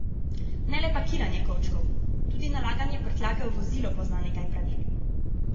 Ne le pakiranje kovčkov, tudi nalaganje prtljage v vozilo pozna nekaj pravil.